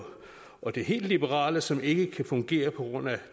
og det helt liberale som ikke kan fungere på grund af